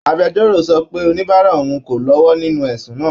Agbẹjọ́rò sọ pé oníbàárà òun kò lọ́wọ́ nínú ẹ̀sùn náà